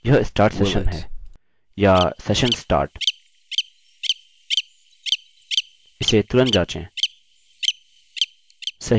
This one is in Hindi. यह start session है या session start इसे तुरंत जाँचें